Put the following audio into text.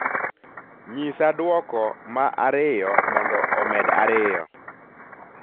nyisa duoko ma ariyo mondo omed ariyo